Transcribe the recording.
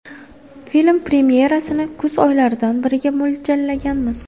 Film premyerasini kuz oylaridan biriga mo‘ljallaganmiz.